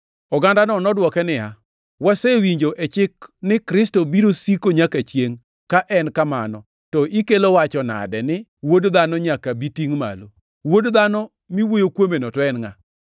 Ogandano nodwoke niya, “Wasewinjo e chik ni Kristo biro siko nyaka chiengʼ, ka en kamano, to ikelo wacho nade ni, ‘ Wuod Dhano nyaka bi tingʼ malo’? ‘Wuod Dhano’ miwuoyo kuomeno to en ngʼa?”